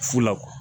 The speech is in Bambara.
Fu la